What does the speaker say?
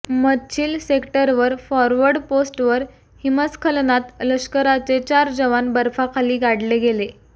मछील सेक्टरवर फॉर्वर्ड पोस्टवर हिमस्खलनात लष्कराचे चार जवान बर्फाखाली गाडले गेले